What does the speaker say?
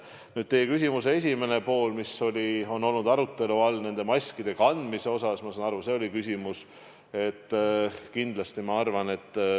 Nüüd teie küsimuse esimene pool, mis on olnud arutelu all nende maskide kandmise koha pealt – ma saan aru, et see oli küsimus.